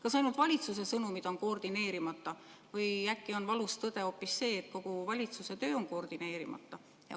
Kas ainult valitsuse sõnumid on koordineerimata või äkki on valus tõde hoopis see, et kogu valitsuse töö on koordineerimata?